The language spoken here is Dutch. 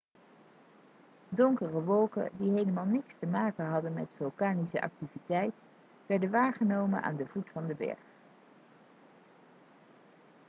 donkere wolken die helemaal niks te maken hadden met vulkanische activiteit werden waargenomen aan de voet van de berg